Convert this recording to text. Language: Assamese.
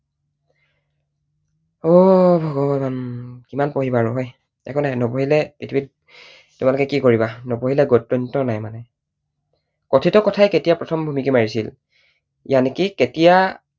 অ ভগৱান! কিমান পঢ়িবা আৰু হয়। একো নাই, নপঢ়িলে পৃথিৱীত তোমালোকে কি কৰিবা, নপঢ়িলে গত্যন্তৰ নাই মানে। কথিত কথাই কেতিয়া প্ৰথম ভুমুকি মাৰিছিল? কেতিয়া